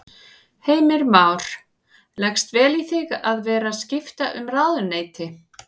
Heimir Már: Leggst vel í þig að vera skipta um ráðuneyti?